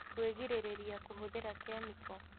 Kwĩgirĩrĩria kũhũthĩra kĩmĩko